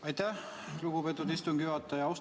Aitäh, lugupeetud istungi juhataja!